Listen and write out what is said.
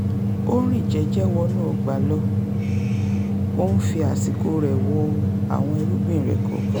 ó rìn jẹ́jẹ́ wọnú ọgbà lọ ó ń fi àsìkò rẹ̀ wo àwọn irúgbìn rẹ̀ kọ̀ọ̀kan